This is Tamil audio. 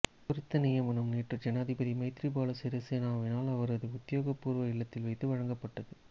குறித்த நியமனம் நேற்று ஜனாதிபதி மைத்திரிபால சிறிசேனவினால் அவரது உத்தியோகபூர்வ இல்லத்தில் வைத்து வழங்கப்பட்டது